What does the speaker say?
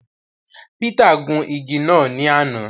Peter gun ìgi náà ní àna